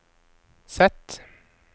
Z